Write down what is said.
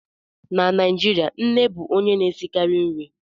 Na Naijirịa, nne bụ onye na-esikarị nri